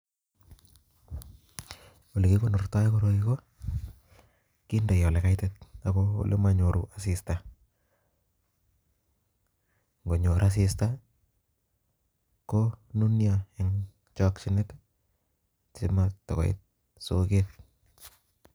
Olekikonortoi koroi ko kindei olekaitit AK olemanyoru asista, ngonyor asista ko nunioo en chakinet simatakoit soket